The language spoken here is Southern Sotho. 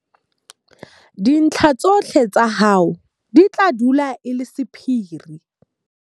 Dintlha tsohle tsa hao di tla dula e le sephiri.